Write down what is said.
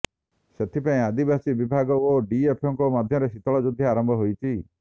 ସେଥିପାଇଁ ଆଦିବାସୀ ବିଭାଗ ଓ ଡିଫ୍ଓଙ୍କ ମଧ୍ୟରେ ଶୀତଳ ଯୁଦ୍ଧ ଆରମ୍ଭ ହୋଇଛି